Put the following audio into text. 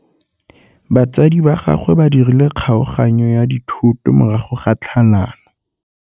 Batsadi ba gagwe ba dirile kgaoganyô ya dithoto morago ga tlhalanô.